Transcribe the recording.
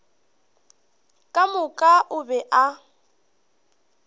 ka moka o be a